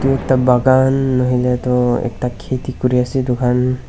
ekta bakan nahoilae toh ekta kheti kuriase edukhan.